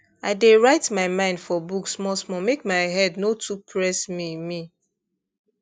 i dey write my mind for book smallsmall make my head no too press me me